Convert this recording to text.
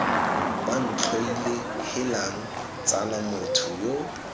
bantlhoile heelang tsala motho yo